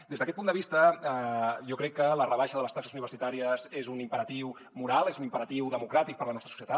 des d’aquest punt de vista jo crec que la rebaixa de les taxes universitàries és un imperatiu moral és un imperatiu democràtic per a la nostra societat